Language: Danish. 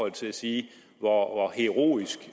at sige sige hvor heroisk